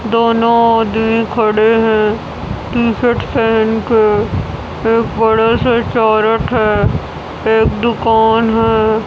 दोनों आदमी खड़े हैं। टी_शर्ट पहन के एक बड़े से चारट है एक दुकान है।